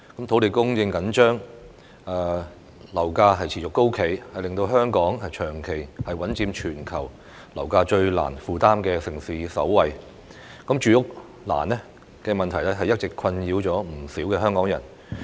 土地供應緊張，樓價持續高企，令香港長期穩佔全球樓價最難負擔的城市首位，住屋難的問題一直困擾着不少香港人。